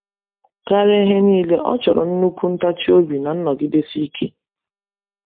Karịa ihe niile, ọ chọrọ nnukwu ntachi obi na nnọgidesi ike.